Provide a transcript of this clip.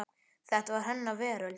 Þetta var hennar veröld.